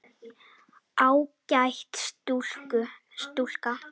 Ágæt stúlka.